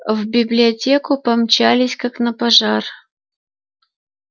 в библиотеку помчались как на пожар